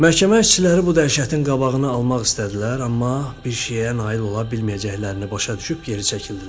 Məhkəmə işçiləri bu dəhşətin qabağını almaq istədilər, amma bir şeyə nail ola bilməyəcəklərini başa düşüb geri çəkildilər.